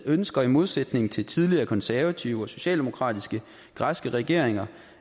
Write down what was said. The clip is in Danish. ønsker i modsætning til tidligere konservative og socialdemokratiske græske regeringer